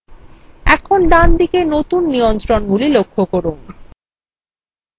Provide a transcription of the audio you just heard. এখন ডানদিকে নতুন নিয়ন্ত্রণগুলি লক্ষ্য করুন